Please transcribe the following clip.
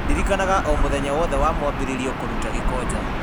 ndirikanagia o mũthenya wothe wa mwambĩrĩrio kũruta gĩko nja